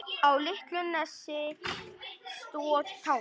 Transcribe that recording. Á litlu nesi stóð Tangi.